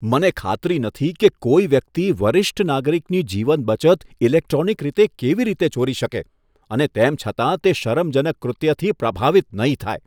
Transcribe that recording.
મને ખાતરી નથી કે કોઈ વ્યક્તિ વરિષ્ઠ નાગરિકની જીવન બચત ઈલેક્ટ્રોનિક રીતે કેવી રીતે ચોરી શકે અને તેમ છતાં તે શરમજનક કૃત્યથી પ્રભાવિત નહીં થાય.